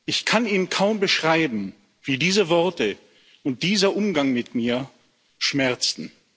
Ich kann Ihnen kaum beschreiben, wie diese Worte und dieser Umgang mit mir schmerzten.